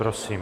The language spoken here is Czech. Prosím.